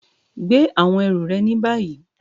Gbè àwọn erù re ní bàyí!